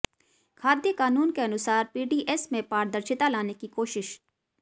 खाद्य कानून के अनुसार पीडीएस में पारदर्शिता लाने की कोशिश